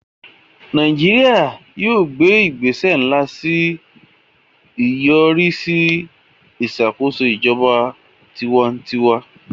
Nàìjíríà yóò gbé ìgbésẹ̀ ńlá sí ìyọrísí ìṣàkóso ijọba tiwantiwa